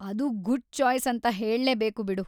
ಅದು good choice ಅಂತ ಹೇಳ್ಲೇಬೇಕು ಬಿಡು.